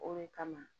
O de kama